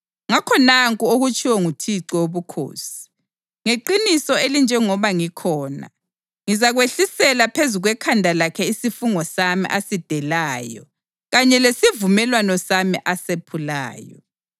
Ngakho nanku okutshiwo nguThixo Wobukhosi: Ngeqiniso elinjengoba ngikhona, ngizakwehlisela phezu kwekhanda lakhe isifungo sami asidelayo kanye lesivumelwano sami asephulayo.